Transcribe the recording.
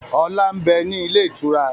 Ọlá ń bẹ ní ilé ìtura